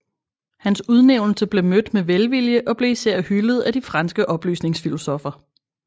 Hans udnævnelse blev mødt med velvilje og blev især hyldet af de franske oplysningsfilosoffer